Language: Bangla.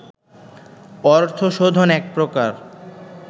অর্থশোধন এক প্রকার